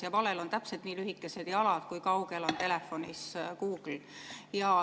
Ja valel on täpselt nii lühikesed jalad, kui kaugel on telefonis Google.